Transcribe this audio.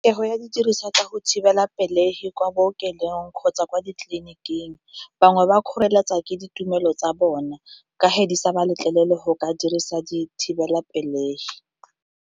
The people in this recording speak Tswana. ya didiriswa tsa go thibelapelegi kwa bookelong kgotsa kwa ditleliniking, bangwe ba kgoreletsa ke ditumelo tsa bona ka fa di sa ba letlelele go ka dirisa dithibelapelegi.